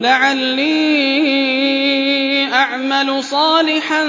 لَعَلِّي أَعْمَلُ صَالِحًا